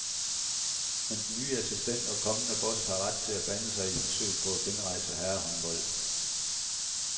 Men den nye assistent og kommende boss har ret til at blande sig i forsøget på at genrejse herrehåndbolden.